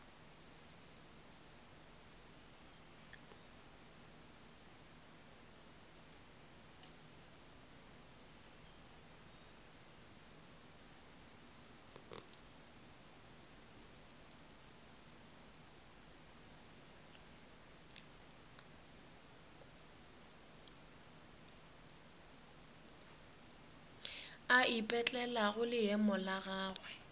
a ipetlelago leemo la gagwe